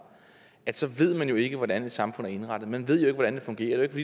så ved man jo ikke hvordan et samfund er indrettet man ved ikke hvordan det fungerer det